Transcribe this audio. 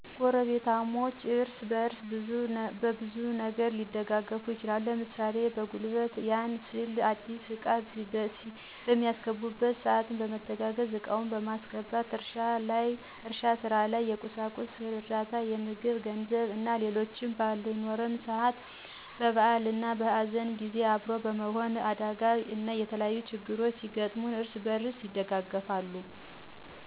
ጎረቤታማቾች እርስ በርስ በብዙ ነገር ሊደጋገፉ ይችላሉ። ለምሳሌ፦ በጉልበት ያም ስንል አዲስ እቃ በሚያስገቡበት ሰአት በመተጋገዝ እቃውን ማስገባት፤ እርሻ ስራ ላይ፣ የቁሳቁስ እርዳታ ምግብ ገንዘብ እና ሌሎችም ባልኖለን ሰአት፣ በበአል እና በሀዘን ጊዜ አብሮ በመሆን፣ በአደጋ እና የተለያዩ ችግሮች ሲገጥሙን እርስ በርስ ይደጋገፋል።